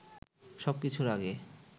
সবকিছুর আগে